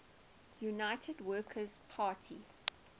united workers party